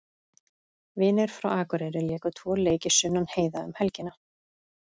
Vinir frá Akureyri léku tvo leiki Sunnan heiða um helgina.